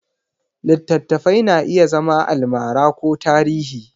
Littattafai na iya zama almara ko tarihi.